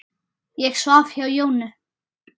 Ég svaf hjá Jónu.